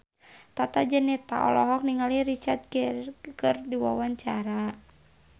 Tata Janeta olohok ningali Richard Gere keur diwawancara